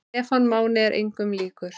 Stefán Máni er engum líkur.